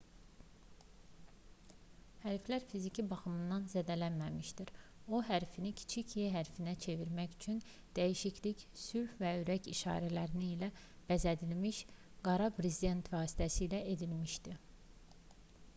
hərflər fiziki baxımdan zədələnməmişdi o hərfini kiçik e hərfinə çevirmək üçün dəyişiklik sülh və ürək işarələri ilə bəzədilmiş qara bir brezent vasitəsilə edilmişdi